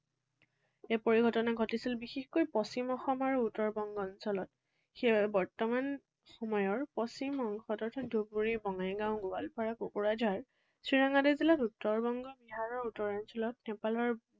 এই পৰিঘটনা ঘটিছিল বিশেষকৈ পশ্চিম অসম আৰু উত্তৰ বংগ অঞ্চলত। সেয়ে বৰ্তমান সময়ৰ পশ্চিম অংশ অৰ্থাৎ ধুবুৰী, বঙাইগাঁও, গোৱালপাৰা, কুকুৰাঝাৰ, চিৰাং আদি জিলাত, উত্তৰ বংগ আৰু বিহাৰৰ উত্তৰ অঞ্চলত, নেপালৰ